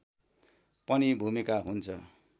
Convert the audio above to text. पनि भूमिका हुन्छ